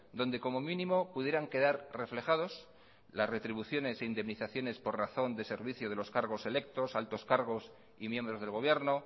donde como mínimo pudieran quedar reflejados las retribuciones e indemnizaciones por razónde servicio de los cargos electos altos cargos y miembros del gobierno